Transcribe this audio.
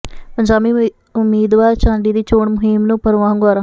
ਪੰਜਾਬੀ ਉਮੀਦਵਾਰ ਝਾਂਡੀ ਦੀ ਚੋਣ ਮੁਹਿੰਮ ਨੂੰ ਭਰਵਾਂ ਹੁੰਗਾਰਾ